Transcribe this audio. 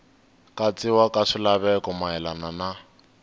katsiwa ka swilaveko mayelana na